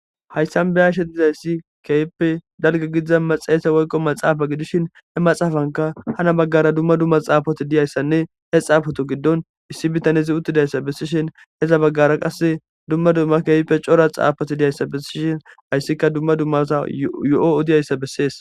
Haysan be7ashe dizayssi keehippe dalgga gidiza metsihethe woykko matsaafa gidishin he matsaafankka hana baggaara dumma dumma tsaafothi diyayssanne he tsaafothu giddon issi bithane uththidayssa bessishin gede baggara qassi dumma dumma keehipe daro tsaafothi diyayssa bessishin hayssikka dumma dumma asaa yo7o odiyayssa bessees.